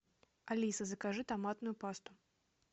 алиса закажи томатную пасту